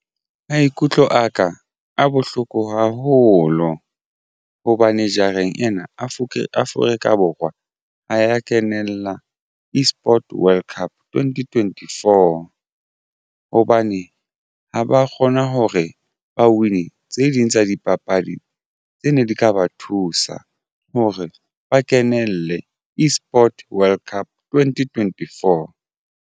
Maikutlo aka a bohloko haholo hobane jareng ena Avukeke Afrika Borwa ha ya kenella eSports World Cup twenty twenty-four hobane ha ba kgona hore ba win tse ding tsa dipapadi tse ne di ka ba thusa hore ba kenelle eSport World Cup twenty twenty-four.